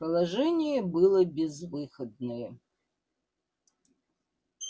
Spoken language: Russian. положение было безвыходное